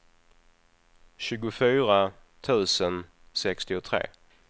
tjugofyra tusen sextiotre